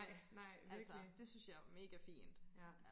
altså det synes jeg er mega fint ja